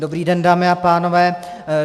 Dobrý den, dámy a pánové.